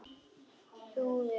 Þrúður finnur réttu orðin.